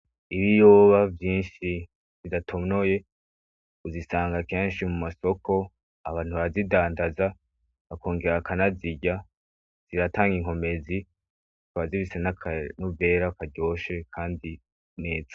Ibiyoba vyinshi zidatonoye uzisanga kenshi mu masoko abantu bazidandaza bakongera akanazirya ziratanga inkomezi twa zibisa n'akanovera karyoshe, kandi neza.